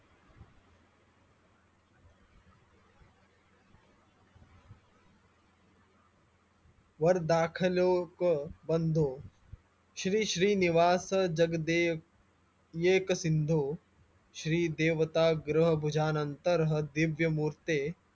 वर्दखलोक बंधो श्री श्री निवासजगदेयक येकसिंधो श्री देवताग्रभुजानंतर दिव्यमूर्ते